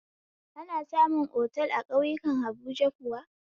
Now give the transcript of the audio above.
Ana samu otal a ƙauyakun habuja kuwa?